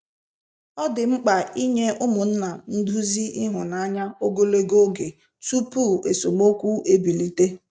Ọ dị mkpa inye ụmụnna nduzi ịhụnanya ogologo oge tupu esemokwu ebilite.